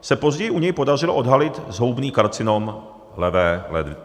se později u něj podařilo odhalit zhoubný karcinom levé ledviny.